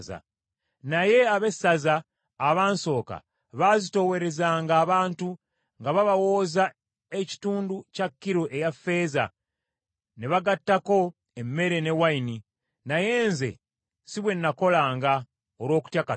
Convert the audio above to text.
Naye abessaza abansooka baazitoowerezanga abantu, nga babawooza ekitundu kya kilo eya ffeeza, ne bagattako emmere ne wayini. Naye nze si bwe nakolanga, olw’okutya Katonda.